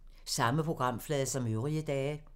Samme programflade som øvrige dage